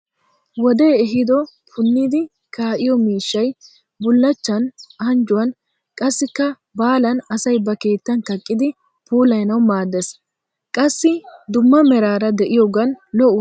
Wodee ehido punnidi kaqqiyo miishshay bullachan anjjuwan qassikka baalan asay ba kettan kaqqidi puulayanawu maaddes. Qassi dumma meraara de'iyoogan lo'uwaa dares.